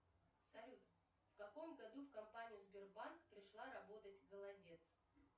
салют в каком году в компанию сбербанк пришла работать голодец